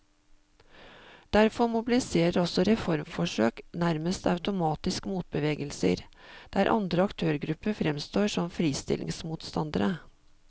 Derfor mobiliserer også reformforsøk nærmest automatisk motbevegelser, der andre aktørgrupper fremstår som fristillingsmotstandere.